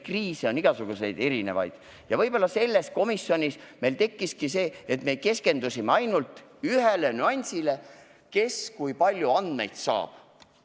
Kriise on igasuguseid erinevaid ja võib-olla selles komisjonis tekkiski see häda, et keskendusime ainult ühele nüansile – kes ja kui palju andmeid saab.